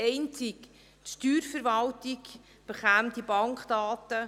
Einzig die Steuerverwaltung erhielte diese Bankdaten.